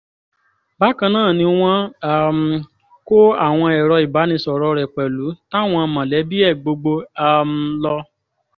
bákan náà ni wọ́n um kó àwọn èrò ìbánisọ̀rọ̀ rẹ̀ pẹ̀lú tàwọn mọ̀lẹ́bí ẹ̀ gbogbo um lọ